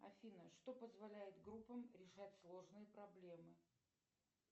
афина что позволяет группам решать сложные проблемы